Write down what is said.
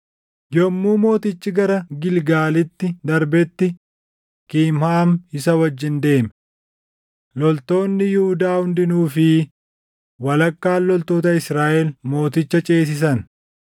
Yommuu mootichi gara Gilgaalitti darbetti Kimhaam isa wajjin deeme. Loltoonni Yihuudaa hundinuu fi walakkaan loltoota Israaʼel mooticha ceesisan.